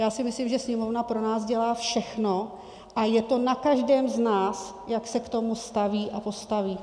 Já si myslím, že Sněmovna pro nás dělá všechno a je to na každém z nás, jak se k tomu staví a postaví.